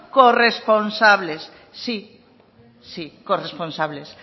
corresponsables sí corresponsables